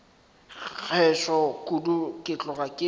gešo kudu ke tloga ke